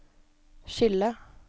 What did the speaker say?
skille